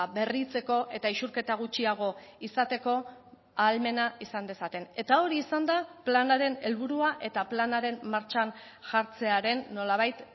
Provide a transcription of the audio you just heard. berritzeko eta isurketa gutxiago izateko ahalmena izan dezaten eta hori izan da planaren helburua eta planaren martxan jartzearen nolabait